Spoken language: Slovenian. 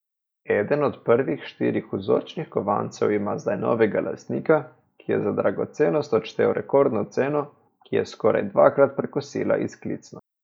Eden od prvih štirih vzorčnih kovancev ima zdaj novega lastnika, ki je za dragocenost odštel rekordno ceno, ki je skoraj dvakrat prekosila izklicno.